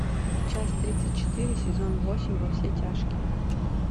часть тридцать четыре сезон восемь во все тяжкие